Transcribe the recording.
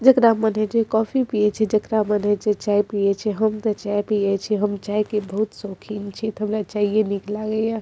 जेकरा मन होय छै कॉफ़ी पिये छै जेकरा मन होय छै चाय पिये छै हम ते चाय पिये छी हम चाय के बहुत शौकीन छी ते हमरा चाय ये निक लागे ये --